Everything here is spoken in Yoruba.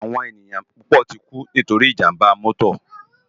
Áwòn éniyàn púpò tikú nitóri ijàmbá mòtó